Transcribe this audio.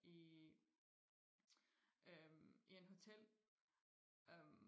i øhm i en hotel øhm